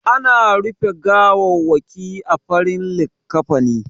Ana rufe gawawwaki a farin likkafani.